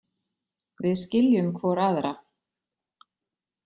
Við skiljum hvor aðra.